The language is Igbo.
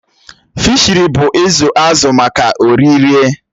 Fịshiri bụ izu azụ maka oririe